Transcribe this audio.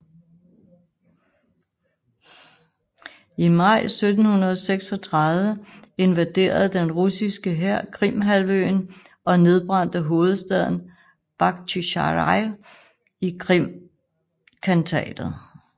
I maj 1736 invaderede den russiske hær Krimhalvøen og nedbrændte hovedstaden Bakhtjisaraj i Krimkhantatet